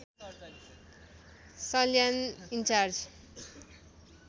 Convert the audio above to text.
Salyan in charge